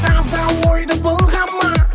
таза ойды былғама